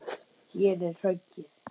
Hér er höggið.